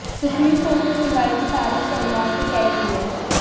supreme Court ने सुनवाई की तारीख सोमवार को तय की है